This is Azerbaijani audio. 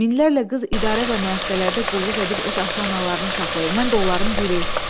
Minlərlə qız idarə və müəssisələrdə qulluq edib öz ata-analarını saxlayır, mən də onların biri.